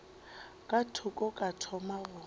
ka thoko ka thoma go